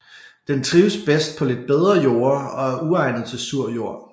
Den trives bedst på lidt bedre jorder og er uegnet til sur jord